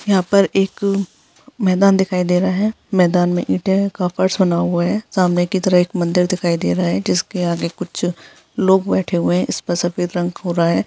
यहाँ पर एक मैदान दिखायी दे रहा है मैदान में ईटों का फर्श बना हुआ है सामने की तरफ एक मंदिर दिखायी दे रहा है जिसके आगे कुछ लोग बैठे हुए हैं इस पर सफेद रंग घुरा है।